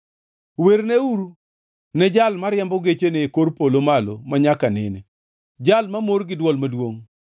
werneuru ne Jal mariembo gechene e kor polo malo manyaka nene, Jal mamor gi dwol maduongʼ.